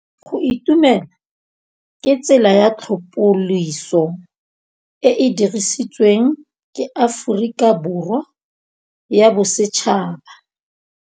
Go itumela ke tsela ya tlhapolisô e e dirisitsweng ke Aforika Borwa ya Bosetšhaba.